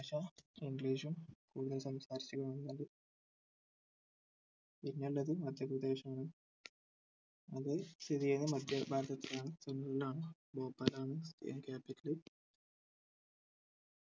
ഭാഷ english ഉം കൂടുതൽ സംസാരിച്ചു പിന്നെ ഉള്ളത് മധ്യപ്രദേശ് ആണ് അത് സ്ഥിതി ചെയ്യുന്നത് മധ്യ ഭാഗത്താണ് center ഇൽ ആണ് ഭോപ്പാൽ ആണ് അയിന്റെ capital